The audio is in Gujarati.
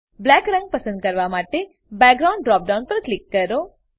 બ્લેક રંગ પસંદ કરવા માટે બેકગ્રાઉન્ડ ડ્રોપ ડાઉન પર ક્લિક કરો